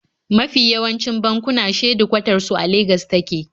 Mafi yawancin bankuna shedikwatar su a Legas suke